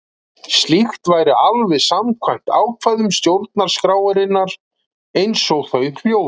Slíkt væri alveg samkvæmt ákvæðum stjórnarskrárinnar, eins og þau hljóða.